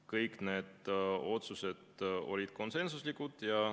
Kõik need otsused olid konsensuslikud.